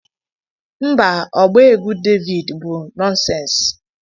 Mba, ọba egwu Devido bụ nonsensi.